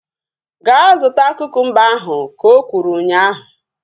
Gaa zụta kukumba ahu! Ka o kwuru ụnyaahụ